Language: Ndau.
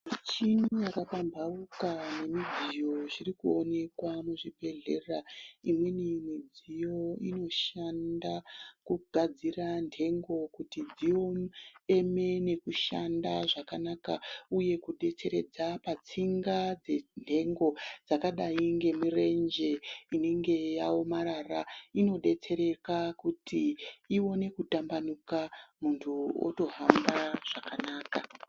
Michini yakapambauka nemidziyo zviri kuonekwa muzvibhedhlera, imweni midziyo inoshanda kugadzira ndengo kuti dzieme nekushanda zvakanaka uye kudetseredza patsinga dzendengo dzakadai nemirenje inenge yaomarara inodetsereka kuti iwonenkutambanuka muntu otohamba zvakanaka.